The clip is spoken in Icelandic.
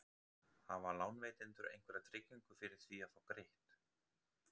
Hafa lánveitendur einhverja tryggingu fyrir því að fá greitt?